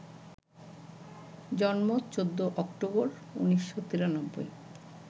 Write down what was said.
জন্ম ১৪ অক্টোবর, ১৯৯৩